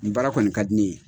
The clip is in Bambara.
Nin baara kɔni ka di ne ye.